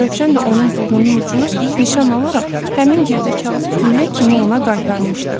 Rövşən də onun burnunun ucunu nişan alaraq həmin girdə kağızı güllə kimi ona qaytarmışdı.